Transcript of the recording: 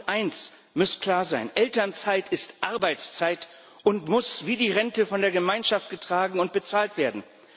Eines muss klar sein Elternzeit ist Arbeitszeit und muss wie die Rente von der Gemeinschaft getragen und bezahlt werden.